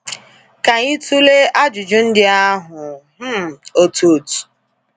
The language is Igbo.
Ka anyị tụlee ajụjụ ndị ahụ um otu otu.